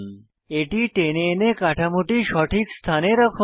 এটি টেনে এনে কাঠামোটি সঠিক স্থানে রাখুন